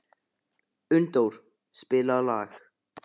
Unndór, spilaðu lag.